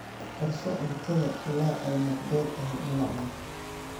Karso cuntada ilaa ay nabdoon tahay in la cuno.